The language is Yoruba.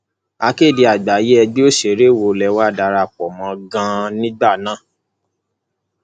akéde àgbáyé ẹgbẹ òṣèré wo lẹ wàá darapọ mọ ganan nígbà náà